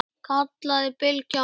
kallaði Bylgja á móti.